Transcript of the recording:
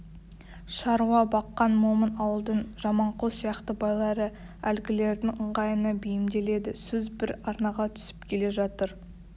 шаруа баққан момын ауылдың жаманқұл сияқты байлары әлгілердің ыңғайына бейімделеді сөз бір арнаға түсіп келе жатыр